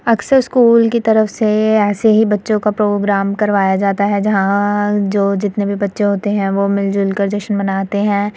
अक्सर स्कूल की तरफ से ऐसे ही बच्चों का प्रोग्राम करवाया जाता है। जहाँ जो जितने भी बच्चे होते है वो मिल-जुल कर जश्न मनाते हैं।